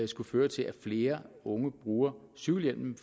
skulle føre til at flere unge bruger cykelhjelmen